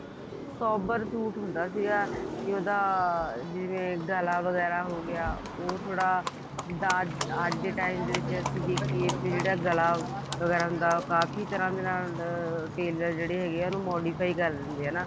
sober suit ਹੁੰਦਾ ਸੀਗਾ ਇਹਦਾ ਜਿਵੇਂ ਗਲਾ ਵਗੈਰਾ ਹੋਗਿਆ ਉਹ ਥੋੜਾ ਅੱਜ ਦੇ time ਵਿੱਚ ਅਸੀਂ ਵੀ ਜਿਹੜਾ ਗਲਾ ਵਗੈਰਾ ਹੁੰਦਾ ਉਹ ਕਾਫੀ ਤਰ੍ਹਾਂ ਦੇ ਨਾਲ tailor ਜਿਹੜੇ ਹੈਗੇ ਆ ਉਹਨੂੰ modify ਕਰ ਦਿੰਦੇ ਨੇ ਨਾ